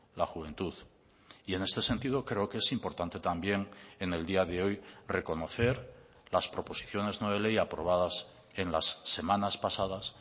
la juventud y en este sentido creo que es importante también en el día de hoy reconocer las proposiciones no de ley aprobadas en las semanas pasadas